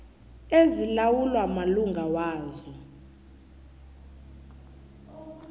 ezilawulwa malunga wazo